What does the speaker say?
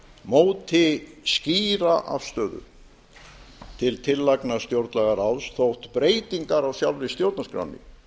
móti skýra afstöðu til tillagna stjórnlagaráðs þótt breytingar á sjálfri stjórnarskránni